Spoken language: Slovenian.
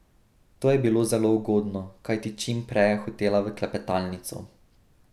To je bilo zelo ugodno, kajti čim prej je hotela v klepetalnico.